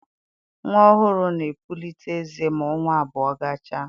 Nnwa ọhụrụ na-epulite eze ma ọnwa abụọ gachaa